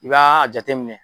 I b'a jate minɛ